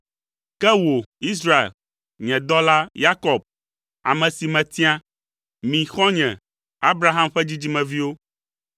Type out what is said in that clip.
“Ke wò, Israel, nye dɔla, Yakob, ame si metia. Mi, xɔ̃nye, Abraham ƒe dzidzimeviwo.